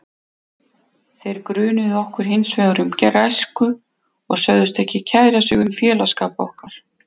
Þeir grunuðu okkur hins vegar um græsku og sögðust ekki kæra sig um félagsskap okkar.